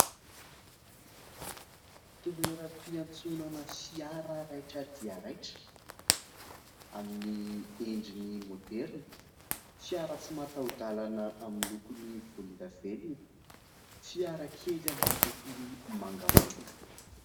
Toeram-piantsonana fiara raitra dia raitra amin'ny endriny moderina, fiara tsy mataho-dalana amin'ny lokony volon-davenona, fiara kely amin'ny lokony mangamanga.